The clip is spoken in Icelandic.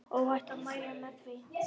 Óhætt að mæla með því.